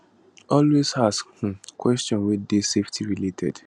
always ask um questions wey dey safety related